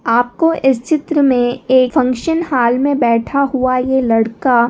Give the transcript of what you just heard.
आप को इस चित्र में एक फंक्शन हॉल में बैठा हुआ ये लड़का--